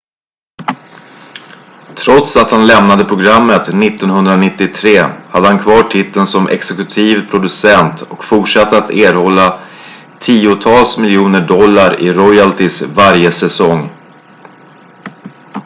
trots att han lämnade programmet 1993 hade han kvar titeln som exekutiv producent och fortsatte att erhålla tiotals miljoner dollar i royalties varje säsong